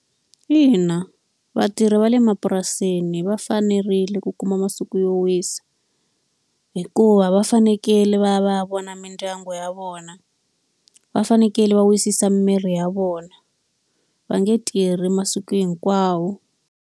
Ina vatirhi va le mapurasini va fanerile ku kuma masiku yo wisa, hikuva va fanekele va ya va ya vona mindyangu ya vona, va fanekele va wisisa miri ya vona. Va nge tirhi masiku hinkwawo.